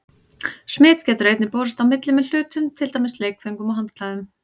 Smit getur einnig borist á milli með hlutum, til dæmis leikföngum og handklæðum.